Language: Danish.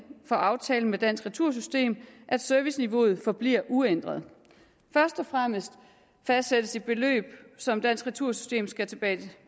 for aftalen med dansk retursystem at serviceniveauet forbliver uændret først og fremmest fastsættes et beløb som dansk retursystem skal